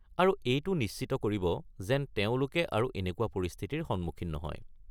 আৰু এইটো নিশ্চিত কৰিব যেন তেওঁলোকে আৰু এনেকুৱা পৰিস্থিতিৰ সন্মুখীন নহয়।